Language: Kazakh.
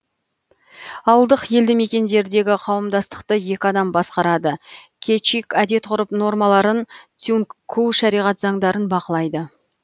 ауылдық елді мекендердегі қауымдастықты екі адам басқарады кечик әдет ғұрып нормаларын тюнгку шариғат заңдарын бақылайды